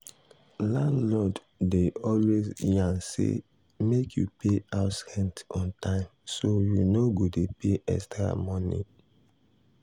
landlord dey always yarn say make you pay house rent on time so you no go dey pay extra money.